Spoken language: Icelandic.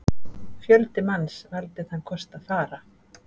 Fjöldi manns valdi þann kost að fara.